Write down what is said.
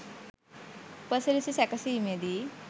උපසිරැසි සැකසීමේදී